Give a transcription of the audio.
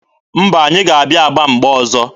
Mba, anyị ga-abịa Aba mgbe ọzọ.